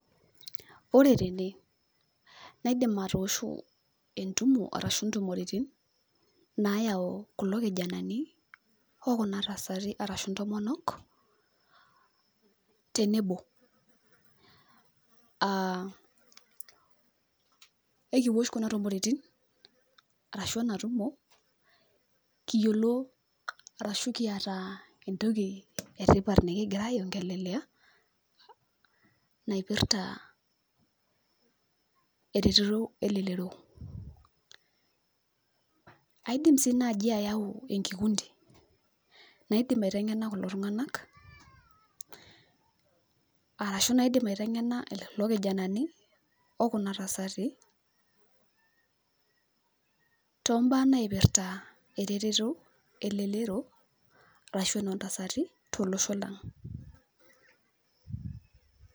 Ore tene, naidim atosho entumo arashu intumoritin, nayau kulo kijanani, okuna tasati arashu ntomonok, tenebo. Ekiwosh kuna tumoritin, arashu enatumo, kiyiolo arashu kiata entoki etipat nikigira ai ongelelea, naipirta ereteto elelero. Aidim si naji ayau enkikundi, naidim aiteng'ena kulo tung'anak, arashu naidim aiteng'ena lelo kijanani, okuna tasati, tombaa naipirta ereteto elelero, arashu enoontasati, tolosho lang'.